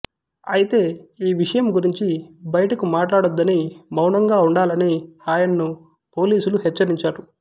అయితే ఈ విషయం గురించి బయటకు మాట్లాడొద్దని మౌనంగా ఉండాలని ఆయన్ను పోలీసులు హెచ్చరించారు